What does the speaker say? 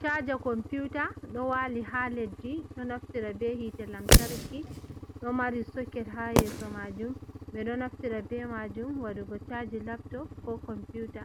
Chaja komputa ɗo wali ha leddi ɗo naftira be hite lamtarki ɗo mari soket ha yeso majum ɓe ɗo naftira be majum waɗugo chaji lapto ko computa